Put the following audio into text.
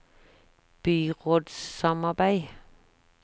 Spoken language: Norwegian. byrådssamarbeid